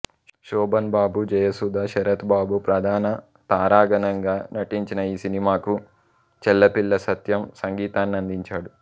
శోభన్ బాబు జయసుధ శరత్ బాబు ప్రధాన తారాగణంగా నటించిన ఈ సినిమాకు చెళ్ళపిళ్ళ సత్యం సంగీతాన్నందించాడు